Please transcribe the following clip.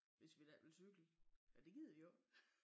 Hvis vi da ikke vil cykle men det gider de jo ik